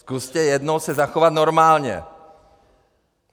Zkuste jednou se zachovat normálně!